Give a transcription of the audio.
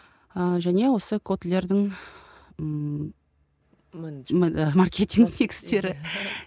ыыы және осы котлердің ммм маркетинг негіздері